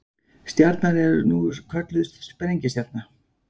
Stjarnan er nú kölluð sprengistjarna.